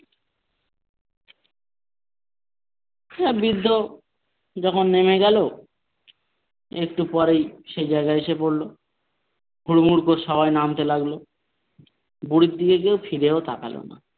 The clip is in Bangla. হ্যাঁ বৃদ্ধ যখন নেমে গেল একটু পরেই সে জায়গায় এসে গেল হুড় মুড় করে সবাই নামতে লাগলো বুড়ির দিকে কেউ ফিরেও তাকালো না।